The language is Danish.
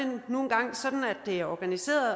er organiseret